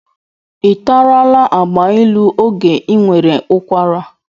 Ị tarala agbailu oge ị nwere ụkwara?